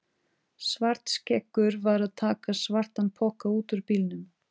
Svartskeggur var að taka svartan poka út úr bílnum.